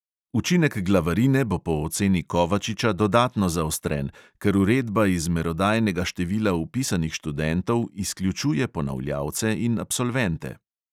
Učinek glavarine bo po oceni kovačiča dodatno zaostren, ker uredba iz merodajnega števila vpisanih študentov izključuje ponavljalce in absolvente.